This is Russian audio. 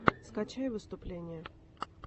скачай выступления